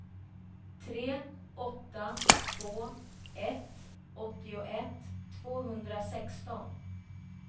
tre åtta två ett åttioett tvåhundrasexton